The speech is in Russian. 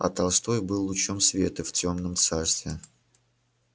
а толстой был лучом света в тёмном царстве